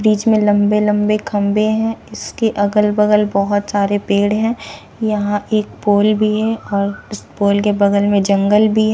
बीच में लंबे लंबे खंभे हैं इसके अगल बगल बहुत सारे पेड़ हैं यहां एक पोल भी है और उस पोल के बगल में जंगल भी है।